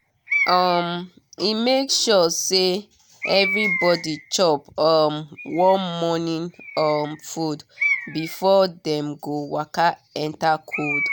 um e make sure say everybody chop um warm morning um food before dem go waka enter cold.